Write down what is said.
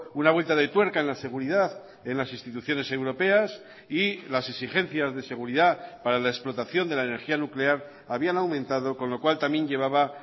una vuelta de tuerca en la seguridad en las instituciones europeas y las exigencias de seguridad para la explotación de la energía nuclear habían aumentado con lo cual también llevaba